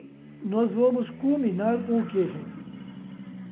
e nós vamos culminar com o quê, gente?